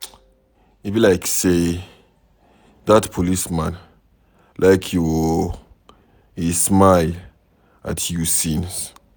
E be like say dat policeman like you oo, he dey smile at you since.